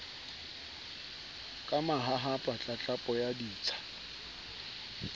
ka mahahapa tlatlapo ya ditsha